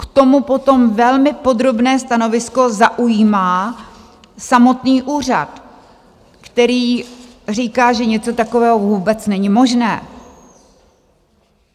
- K tomu potom velmi podrobné stanovisko zaujímá samotný úřad, který říká, že něco takového vůbec není možné.